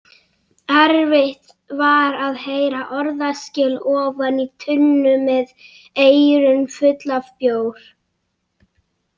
Erfitt var að heyra orðaskil ofan í tunnu með eyrun full af bjór.